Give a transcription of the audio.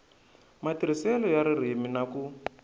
matirhiselo ya ririmi na ku